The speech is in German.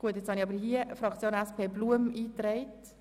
Wir sind bei den Fraktionen angelangt.